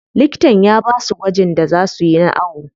Likitan ya basu gwajin da za suyi na awo.